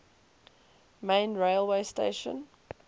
main railway station